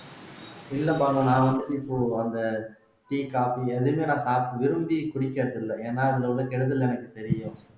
இல்ல பானு நான் வந்து இப்போ அந்த tea coffee எதுவுமே நான் காப்பி விரும்பி குடிக்கிறது இல்லை ஏன்னா அதுல உள்ள கெடுதல் எனக்குத் தெரியும்